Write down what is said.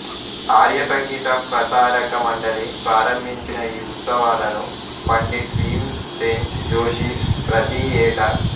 ఆర్య సంగీత ప్రసారక మండలి ప్రారంభించిన ఈ ఉత్సవాలను పండిట్ భీమ్ సేన్ జోషి ప్రతి యేటా